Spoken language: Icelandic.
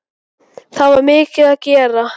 Það er mikið að gera.